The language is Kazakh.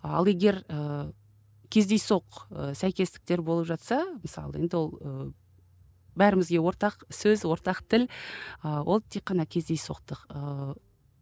ал егер ы кездейсоқ сәйкестіктер болып жатса мысалы енді ол ы бәрімізге ортақ сөз ортақ тіл ы ол тек қана кездейсоқтық ыыы